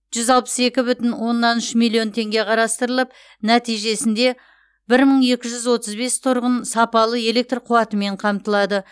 жүз алпыс екі бүтін оннан үш миллион теңге қарастырылып нәтижесінде бір мың екі жүз отыз бес тұрғын сапалы электр қуатымен қамтылады